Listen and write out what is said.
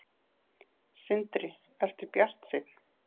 Sindri: Ertu bjartsýnn?